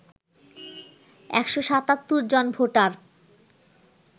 ১৭৭ জন ভোটার